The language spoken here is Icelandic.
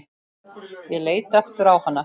Ég leit aftur á hana.